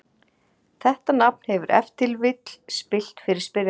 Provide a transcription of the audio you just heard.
Þetta nafn hefur ef til vill villt fyrir spyrjanda.